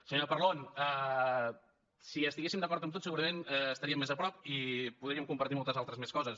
senyora parlon si estiguéssim d’acord en tot segurament estaríem més a prop i podríem compartir moltes altres coses